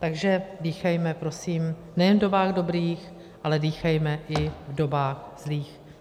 Takže dýchejme prosím nejen v dobách dobrých, ale dýchejme i v dobách zlých.